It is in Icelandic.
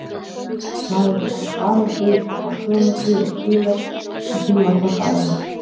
Maður er samt vanur því að fá sumarfrí og hvílast og því var þetta erfitt.